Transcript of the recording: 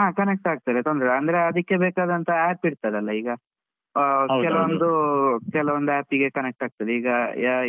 ಆ connect ಆಗ್ತದೆ ತೊಂದ್ರೆ ಇಲ್ಲಾ ಅಂದ್ರೇ ಅದಿಕ್ಕೇ ಬೇಕಾದಂತ app ಇರ್ತದಲ್ಲ ಈಗ. ಕೆಲವೊಂದು app ಗೆ connect ಆಗ್ತದೆ. ಈಗ